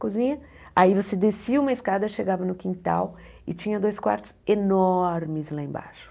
Cozinha, aí você descia uma escada, chegava no quintal e tinha dois quartos enormes lá embaixo.